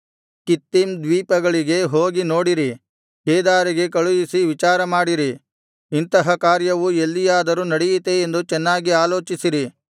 Kittim ದ್ವೀಪಗಳಿಗೆ ಹೋಗಿ ನೋಡಿರಿ ಕೇದಾರಿಗೆ ಕಳುಹಿಸಿ ವಿಚಾರಮಾಡಿರಿ ಇಂತಹ ಕಾರ್ಯವು ಎಲ್ಲಿಯಾದರೂ ನಡೆಯಿತೇ ಎಂದು ಚೆನ್ನಾಗಿ ಆಲೋಚಿಸಿರಿ